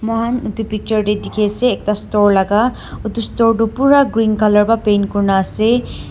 Moi etu picture te dekhi ase ekta store laga etu store tu pura green colour para paint kori kina ase.